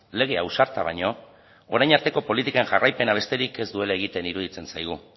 lege ausarta baino orain arteko politiken jarraipena besterik ez duela egiten iruditzen zaigu